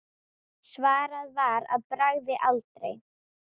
Svarað var að bragði: aldrei.